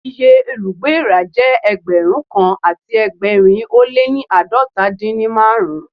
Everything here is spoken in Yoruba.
Iye olùgbé èèrà jẹ́ Ẹgbẹ̀rún kan àti ẹgbẹ̀rin ó lé ní àádọ́ta dín ní márùn-ún.